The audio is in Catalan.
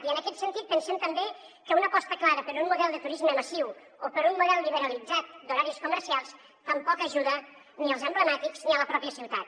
i en aquest sentit pensem també que una aposta clara per un model de turisme massiu o per un model liberalitzat d’horaris comercials tampoc ajuda ni els emblemàtics ni la pròpia ciutat